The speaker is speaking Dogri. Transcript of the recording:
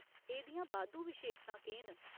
एह्दियां बाद्धू विशेशतां केह् न ?